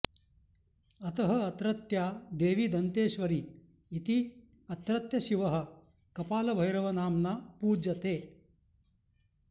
अतः अत्रत्या देवी दन्तेश्वरी इति अत्रत्यशिवः कपालभैरवनाम्ना पूज्यते